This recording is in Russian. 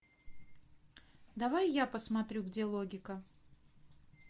давай я посмотрю где логика